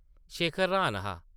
शेखर र्हान हा ।